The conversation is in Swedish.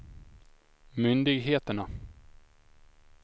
myndigheterna